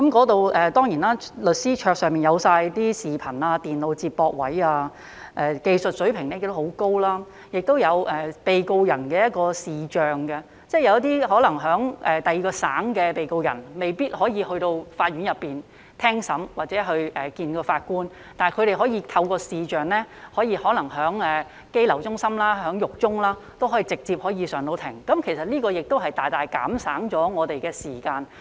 當地律師的桌上齊備視頻及電腦接駁設備，技術水平亦很高，亦有被告人的視像會議，即有一些可能在其他省的被告人未必可以前往法院聽審或面對法官應訊，但他們可以透過視像會議，可能在羈留中心或獄中也可以直接上庭，這其實亦能大大減省我們的時間。